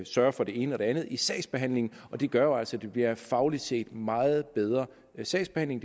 sørge for det ene og det andet i sagsbehandlingen og det gør jo altså at det bliver fagligt set en meget bedre sagsbehandling